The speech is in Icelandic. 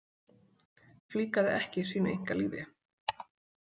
Flíkaði ekki sínu einkalífi.